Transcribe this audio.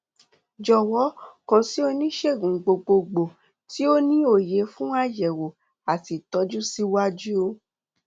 jọwọ kàn sí onísègùn gbogbogbò tí ó ní òye fún àyẹwò àti ìtọjú síwájú